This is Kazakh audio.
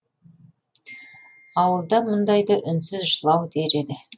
ауылда мұндайды үнсіз жылау дер еді